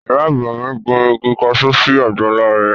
Ìyá àgbà mi gbin igi kaṣú sí àgbàlá rẹ̀